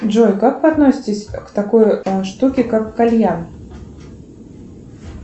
джой как вы относитесь к такой штуке как кальян